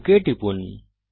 okay টিপুন